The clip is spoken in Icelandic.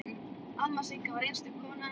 Amma Sigga var einstök kona.